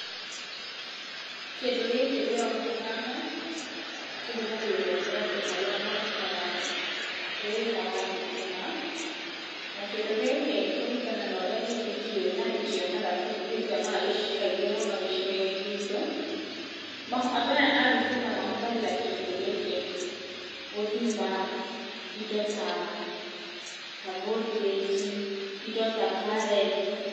Kĩndũ gĩkĩ ndĩrona haha, kĩhũthagĩrwo nĩ andũ arĩa marutaga wĩra wa thitima. Na kĩndũ gĩkĩ kũringana na ũrĩa niĩ ndĩkĩũĩ na ndĩkĩonaga tondũ nĩ ndĩkĩonaga kaingĩ mũno gĩcigo-inĩ gitũ, andũ aya a thitima mahũthagĩra kĩndũ gĩkĩ gũthima indo ta, ta voltage i, indo ta current.